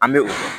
An bɛ o fɔ